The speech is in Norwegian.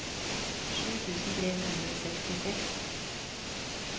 sju tusen tre hundre og sekstiseks